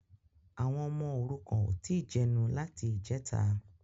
Àwọn ọmọ òrukàn ò tí ì jẹnu láti ìjẹta